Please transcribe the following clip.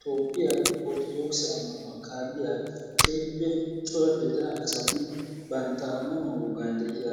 Toophphiyaa ortoodokise ammanuwa kaaliyaa keehippe cora gidida asati bantta ammanuwaa wogaan deiya